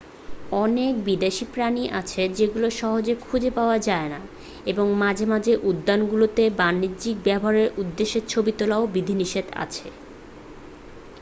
অনেক বিদেশী প্রাণী আছে যেগুলো সহজে খুজে পাওয়া যায়না এবং মাঝে মাঝে উদ্যানগুলোতে বাণিজ্যিক ব্যবহারের উদ্দেশে ছবি তোলায় বিধিনিষেধ আছে